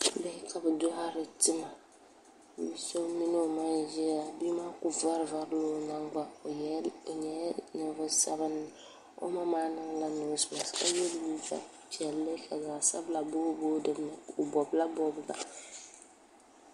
bihi ka bi doɣari tima bia so mini o ma n ʒiya la jia maa ku varivarila o nagbani o nyɛla ninvuɣu sabinli o ma maa niŋla noos mask ka yɛ liiga piɛlli ka zaɣ sabila booi booi dinni o bobla bobga